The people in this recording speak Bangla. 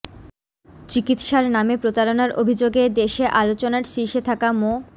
চিকিৎসার নামে প্রতারণার অভিযোগে দেশে আলোচনার শীর্ষে থাকা মো